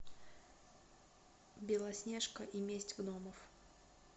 белоснежка и месть гномов